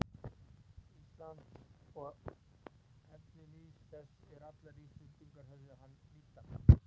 Íslands og hefna níðs þess er allir Íslendingar höfðu hann níddan.